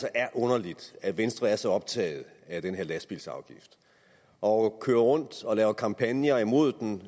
er underligt at venstre er så optaget af den her lastbilsafgift og kører rundt og laver kampagner imod den